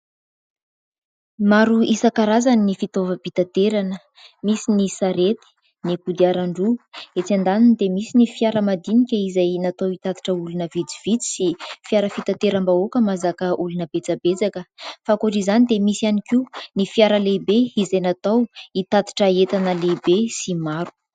Maro isankarazany ny fitaovam-pitaterana, misy ny sarety, ny kodiaran- droa, etsy andaniny dia misy ny fiara madinika izay natao hitatitra olona vitsivitsy, sy fiara fitateram-bahoaka mahazaka olona betsabetsaka. Fa ankoatr' izany dia misy ihany koa ny fiara lehibe izay natao hitatitra entana lehibe sy maro.